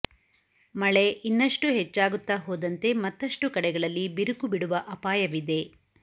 ಮಳೆ ಇನ್ನಷ್ಟು ಹೆಚ್ಚಾಗುತ್ತಾ ಹೋದಂತೆ ಮತ್ತಷ್ಟು ಕಡೆಗಳಲ್ಲಿ ಬಿರುಕು ಬಿಡುವ ಅಪಾಯವಿದೆ